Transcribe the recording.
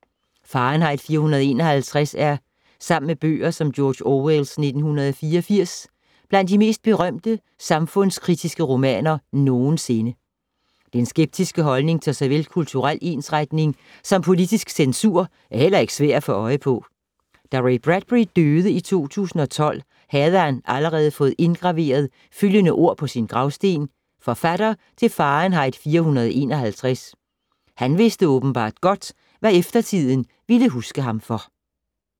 Fahrenheit 451 er, sammen med bøger som George Orwells 1984, blandt de mest berømte samfundskritiske romaner nogensinde. Den skeptiske holdning til såvel kulturel ensretning som politisk censur er heller ikke svær at få øje på. Da Ray Bradbury døde i 2012, havde han allerede fået indgraveret følgende ord på sin gravsten: Forfatter til Fahrenheit 451. Han vidste åbenbart godt, hvad eftertiden ville huske ham for.